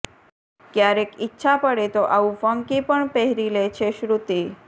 ક્યારેક ઈચ્છા પડે તો આવું ફંકી પણ પહેરી લે છે શ્રૃતિ